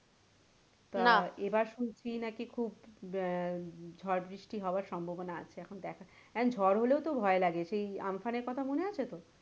তা এবার শুনছি নাকি খুব আহ ঝড় বৃষ্টি হওয়ার সম্ভাবনা আছে এবার দেখা, এখন ঝড় হলেও তো ভয় লাগে সেই আমফানের কথা মনে আছে তো?